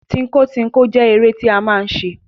Tínko tínko jẹ́ eré tí a máa ń ṣe.